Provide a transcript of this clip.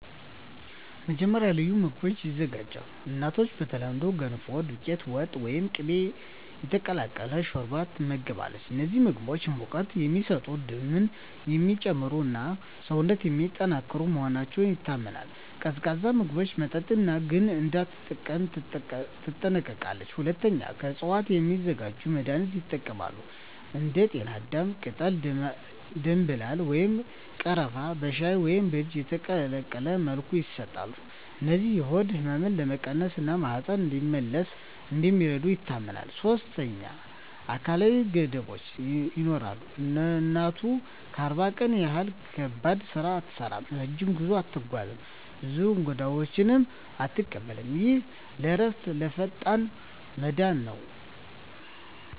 መጀመሪያ፣ ልዩ ምግቦች ይዘጋጃሉ። እናቱ በተለምዶ “ገንፎ”፣ “ዱቄት ወጥ” ወይም “ቅቤ የተቀላቀለ ሾርባ” ትመገባለች። እነዚህ ምግቦች ሙቀት የሚሰጡ፣ ደምን የሚጨምሩ እና ሰውነትን የሚያጠናክሩ መሆናቸው ይታመናል። ቀዝቃዛ ምግብና መጠጥ ግን እንዳትጠቀም ትጠነቀቃለች። ሁለተኛ፣ ከእፅዋት የሚዘጋጁ መድኃኒቶች ይጠቀማሉ። እንደ ጤናዳም ቅጠል፣ ደምብላል ወይም ቀረፋ በሻይ ወይም በእጅ የተቀቀለ መልኩ ይሰጣሉ። እነዚህ የሆድ ህመምን ለመቀነስ እና ማህፀን እንዲመለስ እንደሚረዱ ይታመናል። ሶስተኛ፣ አካላዊ ገደቦች ይኖራሉ። እናቱ ለ40 ቀን ያህል ከባድ ስራ አትሠራም፣ ረጅም ጉዞ አትጓዝም፣ ብዙ እንግዶችንም አትቀበልም። ይህ ለእረፍትና ለፈጣን መዳን ነው